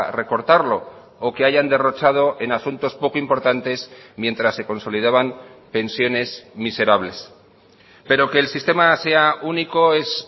recortarlo o que hayan derrochado en asuntos poco importantes mientras se consolidaban pensiones miserables pero que el sistema sea único es